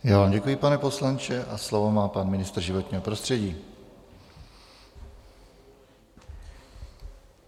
Já vám děkuji, pane poslanče, a slovo má pan ministr životního prostředí.